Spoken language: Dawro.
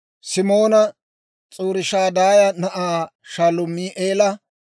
Simoona S'uriishadaaya na'aa Shalumi'eela,